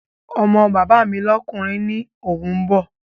Ọmọ bàbá mi lọ́kùnrin ni òun bọ̀